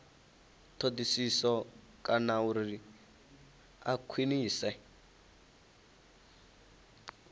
thodisiso kana uri a khwiniswe